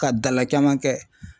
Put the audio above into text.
Ka dala caman kɛ